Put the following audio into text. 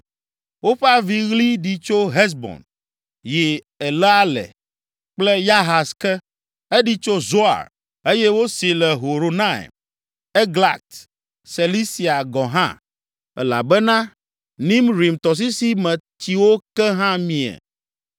“Woƒe aviɣli ɖi tso Hesbon, yi Eleale kple Yahaz ke. Eɖi tso Zoar, eye wosee le Horonaim, Eglat Selisia gɔ̃ hã, elabena Nimrim tɔsisi me tsiwo ke hã mie.